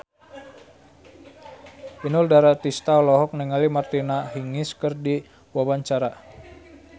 Inul Daratista olohok ningali Martina Hingis keur diwawancara